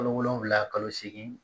Kalo wolonfila kalo seegin